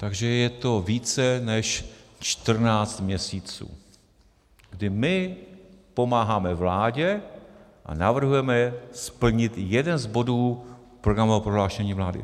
Takže je to více než 14 měsíců, kdy my pomáháme vládě a navrhujeme splnit jeden z bodů programového prohlášení vlády.